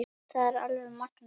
Það er alveg magnað.